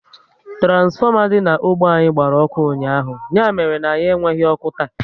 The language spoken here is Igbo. Turansfoma dị na ógbè anyị gbara ọkụ ụnyaahụ, ya mere na anyị enweghị ọkụ taa